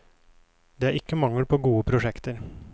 Det er ikke mangel på gode prosjekter.